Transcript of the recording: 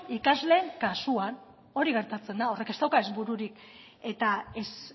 ikasleen kasuan hori gertatzen da horrek ez dauka ez bururik eta ez